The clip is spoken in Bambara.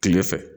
Kile fɛ